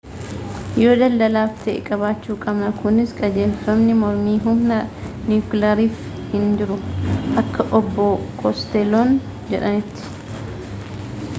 yoo daldalaaf ta'e qabaachuu qabna kunis qajeelfamni mormii humna niwukilaaraaf hin jiru akka obbo kostelloon jedhanitti